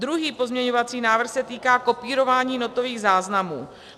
Druhý pozměňovací návrh se týká kopírování notových záznamů.